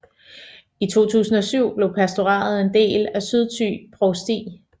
I 2007 blev pastoratet en del af Sydthy Provsti